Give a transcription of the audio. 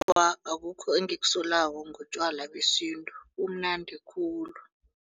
Awa, akukho engikusolako ngotjwala besintu bumnandi khulu.